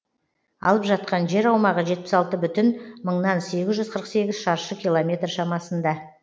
алып жатқан жер аумағы жетпіс алты бүтін мыңнан сегіз жүз қырық сегіз шаршы километр шамасында